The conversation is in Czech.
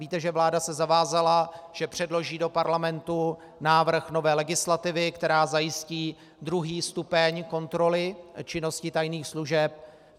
Víte, že vláda se zavázala, že předloží do Parlamentu návrh nové legislativy, která zajistí druhý stupeň kontroly činnosti tajných služeb.